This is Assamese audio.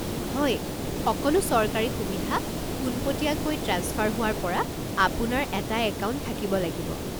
হয়, সকলো চৰকাৰী সুবিধা পোনপটীয়াকৈ ট্ৰেন্সফাৰ হোৱাৰ পৰা আপোনাৰ এটা একাউণ্ট থাকিব লাগিব।